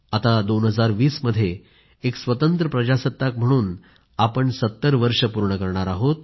आता 2020 मध्ये एक स्वतंत्र प्रजासत्ताक म्हणून आपण 70 वर्ष पूर्ण करणार आहोत